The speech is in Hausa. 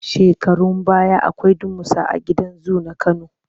Shekarun baya akwai damusa a gidan zu na Kano.